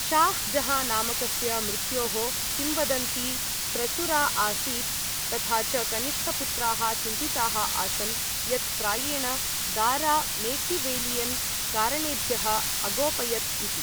शाह् जहाँ नामकस्य मृत्योः किंवदन्ती प्रचुरा आसीत् तथा च कनिष्ठपुत्राः चिन्तिताः आसन् यत् प्रायेण दारा मेकिवेलियन् कारणेभ्यः अगोपयत् इति।